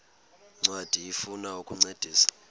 ncwadi ifuna ukukuncedisa